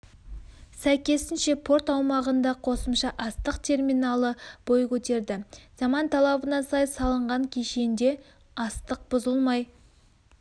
сәйкесінше порт аумағында қосымша астық терминалы бой көтерді заман талабына сай салынған кешенде астық бұзылмай